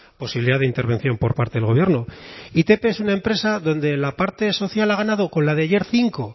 posibilidad de intervención por parte del gobierno itp es una empresa donde la parte social ha ganado con la de ayer cinco